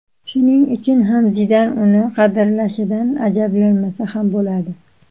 Shuning uchun ham Zidan uni qadrlashidan ajablanmasa ham bo‘ladi.